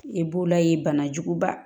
E b'o la ye banajuguba